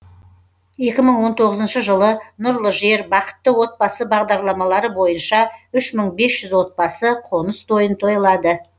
екі мың он тоғызыншы жылы нұрлы жер бақытты отбасы бағдарламалары бойынша үш мың бес жүз отбасы қоныс тойын тойлады